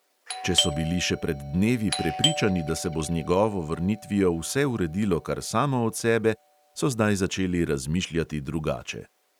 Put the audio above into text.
Če so bili še pred dnevi prepričani, da se bo z njegovo vrnitvijo vse uredilo kar samo od sebe, so zdaj začeli razmišljati drugače.